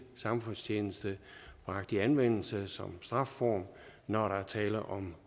samfundstjeneste bragt i anvendelse som strafform når der er tale om